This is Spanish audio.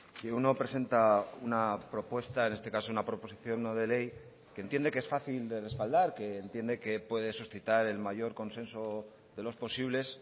que uno presenta una propuesta en este caso una proposición no de ley que entiende que es fácil de respaldar que entiende que puede suscitar el mayor consenso de los posibles